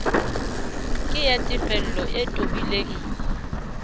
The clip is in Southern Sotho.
ke ya tefello e tobileng